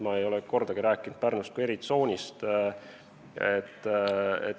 Ma ei ole kordagi rääkinud Pärnust kui eritsoonist.